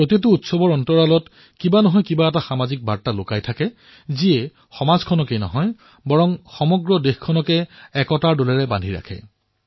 প্ৰতিটো উৎসৱৰ অন্তৰালত কোনোবাটো সামাজিক বাৰ্তা লুকাই থাকে যিয়ে কেৱল সমাজকেই নহয় সমগ্ৰ দেশকেই একতাৰ ডোলেৰে বান্ধি ৰাখে